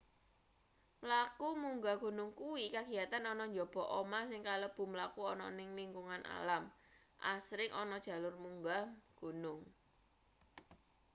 mlaku munggah gunung kuwi kagiyatan ana njaba omah sing kalebu mlaku ana ning lingkungan alam asring ana jalur munggah gunung